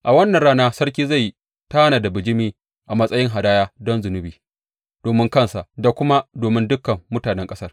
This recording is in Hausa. A wannan rana sarki zai tanada bijimi a matsayin hadaya don zunubi domin kansa da kuma domin dukan mutanen ƙasar.